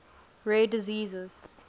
rare diseases